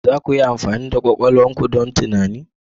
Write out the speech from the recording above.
Za ku iya amfani da kwakwalwar ku don tunani?